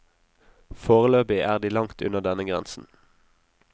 Foreløpig er de langt unna denne grensen.